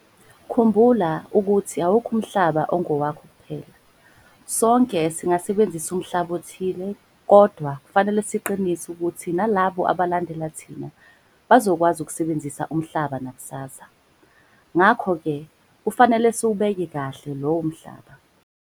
Khumbula ukuthi awukho umhlaba ongowakho kuphela - sonke singasebenzisa umhlaba othile kodwa kufanele siqinise ukuthi nalabo abalandela thina bazokwazi ukusebenzisa umhlaba nakusasa - ngakho-ke kufanele siwubheke kahle lowo mhlaba.